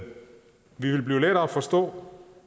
ville blive lettere at forstå